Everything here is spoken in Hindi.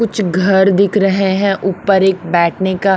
कुछ घर दिख रहे हैं ऊपर एक बैठने का--